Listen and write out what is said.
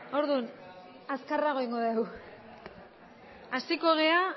orduan azkarrago egingo dugu hasiko gara